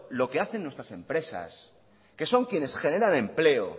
lo que hacen nuestras empresas que son quiénes generan empleo